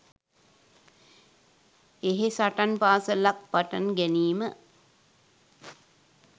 එහෙ සටන් පාසලක් පටන් ගැනීම